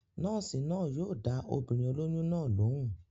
Nọ́ọ̀sì náà yóò dá obìnrin olóyún náà lóun